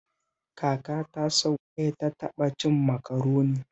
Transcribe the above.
Kakata sau ɗaya ta taɓa cin Makaroni